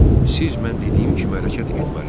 Siz mən dediyim kimi hərəkət etməlisiz.